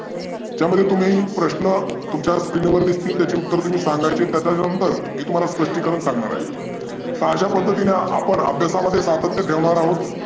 ज्यामध्ये तुम्ही प्रश्न तुमच्या screen दिसतील त्याचे उत्तर तुम्ही सांगायचे त्याच्या नंतर मी तुम्हाला स्पष्टीकरण सांगणार आहे. अशा पध्दतीने आपण अभ्यासात सातत्य ठेवणार आहोत.